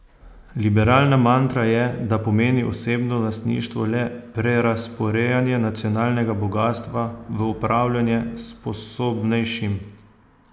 Liberalna mantra je, da pomeni osebno lastništvo le prerazporejanje nacionalnega bogastva v upravljanje sposobnejšim.